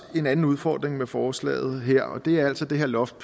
en anden udfordring med forslaget her og det er altså det her loft